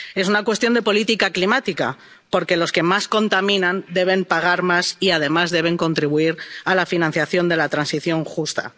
es una cuestión de política climática, porque los que más contaminan deben pagar más y además deben contribuir a la financiación de la transición justa.